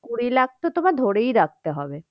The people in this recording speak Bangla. কুড়ি লাখ তো তোমায় ধরেই রাখতে হবে।